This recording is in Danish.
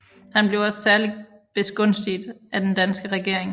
Han blev også særlig begunstiget af den danske regering